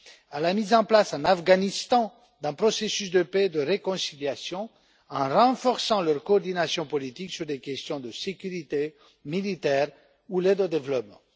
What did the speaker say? à la mise en place en Afghanistan d'un processus de paix et de réconciliation en renforçant leur coordination politique sur les questions de sécurité militaire ou d'aide au développement.